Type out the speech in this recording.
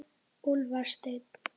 Úlfar Steinn.